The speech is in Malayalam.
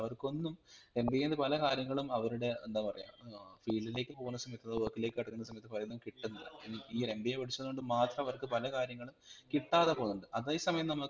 അവർക്കൊന്നും MBA ന്ന്പല കാര്യങ്ങളും അവരുടെ എന്താ പറയാ ഏർ field ലേക് പോകുന്ന സമയത്ത് അഥവാ WORK ലേക് കടക്കുന്ന സമയത്ത് പലതും കിട്ടുന്നില്ല i mean ഈ ഒരു MBA പഠിച്ചത് കൊണ്ട് മാത്രം അവർക്ക് പല കാര്യങ്ങളും കിട്ടാതെ പോകുന്നുണ്ട് അതെ സമയം